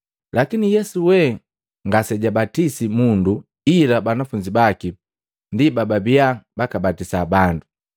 Lakini Yesu wee ngasejabatisi mundu ila banafunzi baki ndi bababiya bakabatisa bandu.